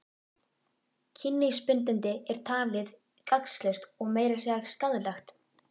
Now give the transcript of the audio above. Kynlífsbindindi er talið gagnslaust og meira að segja skaðlegt.